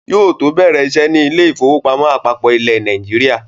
Yóò bẹ̀rẹ̀ iṣẹ́ ní Ilé-ìfowópamọ́ àpapọ ilẹ̀ Nàìjíríà.